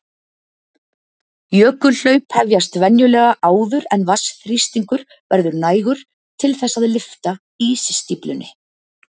Jökulhlaup hefjast venjulega áður en vatnsþrýstingur verður nægur til þess að lyfta ísstíflunni.